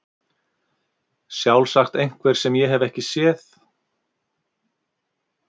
Sjálfsagt einhver sem ég hef ekki séð.